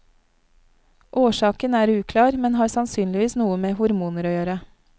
Årsaken er uklar, men har sannsynligvis noe med hormoner å gjøre.